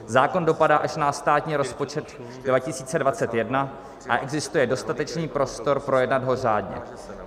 Zákon dopadá až na státní rozpočet 2021 a existuje dostatečný prostor projednat ho řádně.